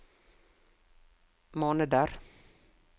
måneder